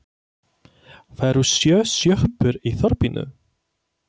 Það eru sjö sjoppur í þorpinu!